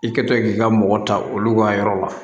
I kɛtɔ k'i ka mɔgɔ ta olu ka yɔrɔ la